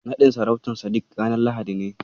Naɗin sarautar Sadik ranar Lahadi ne.